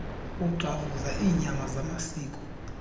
uxhafuza iinyama zamasiko